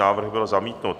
Návrh byl zamítnut.